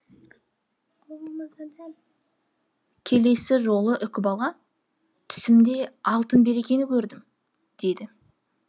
келесі жолы үкібала түсімде алтын бекірені көрдім деді